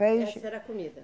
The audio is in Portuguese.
Peixe. Essa era a comida?